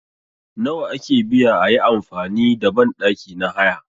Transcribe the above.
Nawa ake biya ayi amfani da banɗaki na haya